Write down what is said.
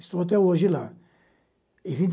Estou até hoje lá.